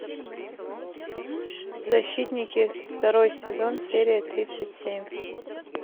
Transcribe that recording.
защитники второй сезон серия тридцать семь